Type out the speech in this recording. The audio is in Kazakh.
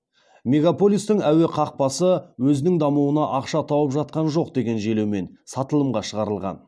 мегаполистің әуе қақпасы өзінің дамуына ақша тауып жатқан жоқ деген желеумен сатылымға шығарылған